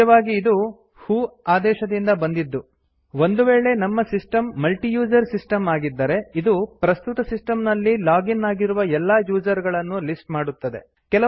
ನಿಜವಾಗಿ ಇದು ವ್ಹೋ ಆದೇಶದಿಂದ ಬಂದಿದ್ದು ಒಂದು ವೇಳೆ ನಮ್ಮ ಸಿಸ್ಟಮ್ ಮಲ್ಟಿ ಯೂಸರ್ ಸಿಸ್ಟಮ್ ಆಗಿದ್ದರೆ ಇದು ಪ್ರಸ್ತುತ ಸಿಸ್ಟಮ್ ನಲ್ಲಿ ಲಾಗ್ ಇನ್ ಆಗಿರುವ ಎಲ್ಲಾ ಯೂಸರ್ ಗಳನ್ನು ಲಿಸ್ಟ್ ಮಾಡುತ್ತದೆ